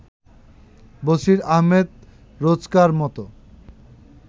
Basir Ahmed রোজকার-মত